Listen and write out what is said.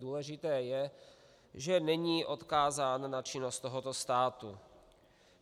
Důležité je, že není odkázán na činnost tohoto státu.